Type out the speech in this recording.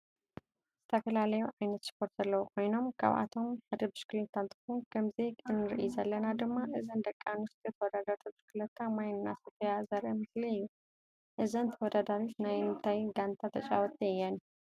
ዝተፈላለዩ ዓይነታት ስፓርት ዘለዎ ኮይኖም ካብአቶም ሓደ ብሽኪሊታ እንትከውን ከምዚ እንሪኢን ዘለና ድማ እዘን ደቂ አንስትዮ ተወዳደርቲ ብሽክሊታ ማይ እናሰተያ ዘሪኢ ምስሊ እዩ። እዘን ተወዳደሪት ናይ እንታይ ጋንታ ተጫወቲ እየን?